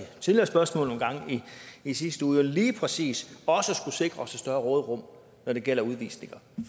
nogle gange i sidste uge spørgsmål lige præcis skulle sikre et større råderum når det gælder udvisninger